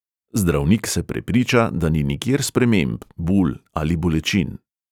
Zdravnik se prepriča, da ni nikjer sprememb, bul ali bolečin.